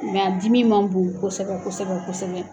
Mɛ a dimi man bon kosɛbɛ kosɛbɛ kosɛbɛ.